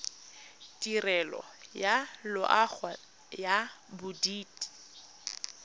tirelo ya loago ya bodit